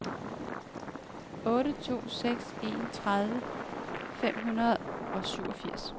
otte to seks en tredive fem hundrede og syvogfirs